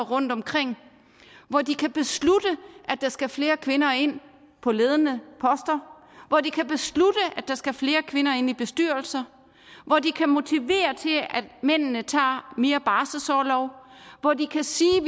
rundtomkring hvor de kan beslutte at der skal flere kvinder ind på ledende poster hvor de kan beslutte at der skal flere kvinder ind i bestyrelser hvor de kan motivere til at mændene tager mere barselsorlov hvor de kan sige at